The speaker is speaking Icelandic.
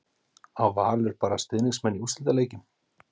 Á Valur bara stuðningsmenn í úrslitaleikjum?